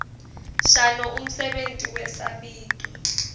shano umsebenti wesabito